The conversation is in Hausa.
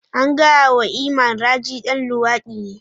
An gaya wa Iman, Raji dan luwadi ne.